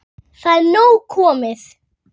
Það er nóg komið.